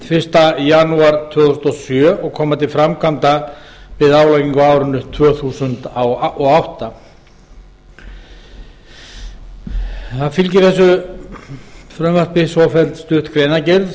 fyrsta janúar tvö þúsund og sjö og koma til framkvæmda við álagningu á árinu tvö þúsund og átta frumvarpinu fylgir svofelld stutt greinargerð